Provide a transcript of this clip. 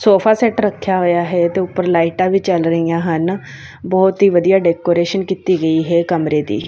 Sofa set ਰੱਖਿਆ ਹੋਇਆ ਹੈ ਤੇ ਉੱਪਰ ਲਾਈਟਾਂ ਵੀ ਜਲ ਰਹੀਆਂ ਹਨ ਬਹੁਤ ਹੀ ਵਧੀਆ ਡੈਕੋਰੇਸ਼ਨ ਕੀਤੀ ਗਈ ਹੈ ਕਮਰੇ ਦੀ।